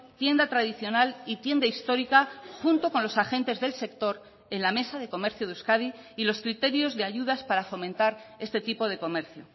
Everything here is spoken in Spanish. tienda tradicional y tienda histórica junto con los agentes del sector en la mesa de comercio de euskadi y los criterios de ayudas para fomentar este tipo de comercio